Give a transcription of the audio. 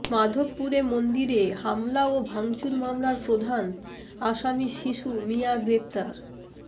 মাধবপুরে মন্দিরে হামলা ও ভাঙচুর মামলার প্রধান আসামি শিশু মিয়া গ্রেফতার